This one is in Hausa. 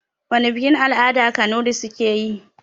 Wana bikin-al'ada kunurai suke yi?